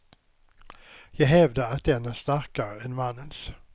Jag hävdar att den är starkare än mannens.